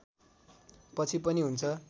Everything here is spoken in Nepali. पछि पनि हुन्छ